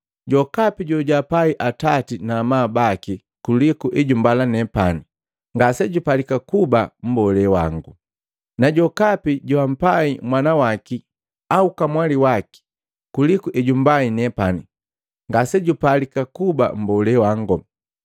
“Jokapi jojapai atati na amabu baki kuliku ejumbala nepani, ngasejupalika kuba mbolee wango. Na jokapi joampai mwana waki au kamwali waki kuliku ejumbai nepani, ngasejupalika kuba mbolee wango.